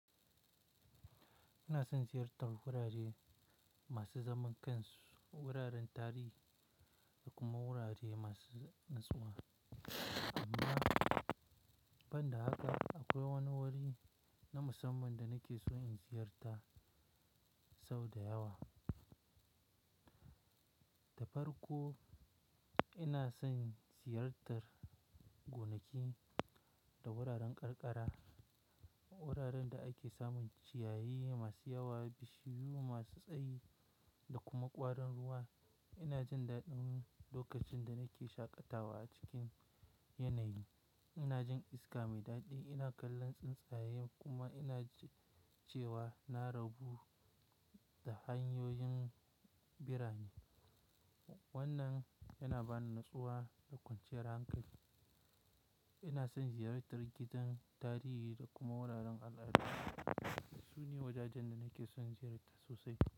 Ina son ziyartar wurare masu zaman kansu, wuraren tarihi da kuma wurare masu natsuwa. Amma banda haka akwai wani wuri na musamman da nake so in ziyarta sau da yawa. Da farko ina son ziyartar gonaki da wuraren ƙarƙara, wuraren da ake samun ciyayi masu yawa, bishiyu masu tsayi da kuma ƙwarin ruwa. Ina jin daɗi lokacin da nake shaƙatawa a cikin yanayi. Ina jin iska mai daɗi, ina kallon tsuntsaye kuma ina ji cewa na rabu da hanyoyin birane. Wannan yana bani natsuwa da kwanciyar hankali. Ina son ziyartar gidan tarihi da kuma wuraren al'adu. Su ne wajajen da nake son ziyarta sosai.